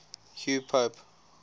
hugh pope